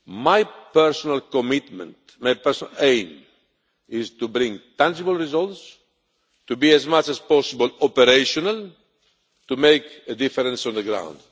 My personal commitment, my personal aim, is to bring tangible results, to be as much as possible operational, to make a difference on the ground.